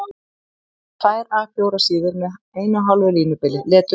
Minnst tvær A 4 síður með 1½ línubili, leturstærð